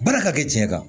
Baara ka kɛ diɲɛ kan